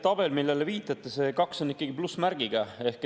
Tabelis, millele viitate, on see kaks ikkagi plussmärgiga.